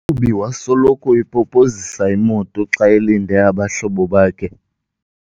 mqhubi wasoloko epopozisa imoto xa elinde abahlobo bakhe.